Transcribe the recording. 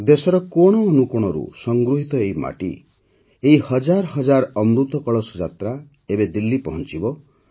ଦେଶର କୋଣ ଅନୁକୋଣରୁ ସଂଗୃହିତ ଏହି ମାଟି ଏହି ହଜାର ହଜାର ଅମୃତ କଳସ ଯାତ୍ରା ଏବେ ଦିଲ୍ଲୀ ପହଂଚିବ